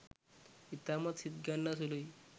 ඉතාමත් සිත් ගන්නා සුළුයි